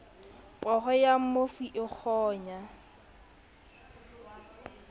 poho ya mmofu e kgonya